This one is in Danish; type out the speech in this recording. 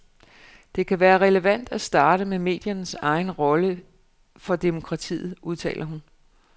Det kan være relevant at starte med mediernes egen rolle for demokratiet, udtaler hun.